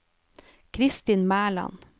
Kristin Mæland